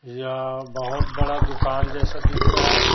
या बहोत बड़ा दुकान जैसा दिख रहा है।